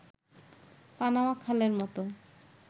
Panama খালের মতো